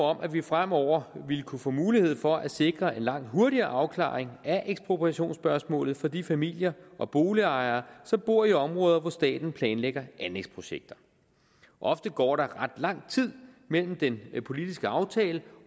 om at vi fremover ville kunne få mulighed for at sikre en langt hurtigere afklaring af ekspropriationsspørgsmålet for de familier og boligejere som bor i områder hvor staten planlægger anlægsprojekter ofte går der ret lang tid mellem den politiske aftale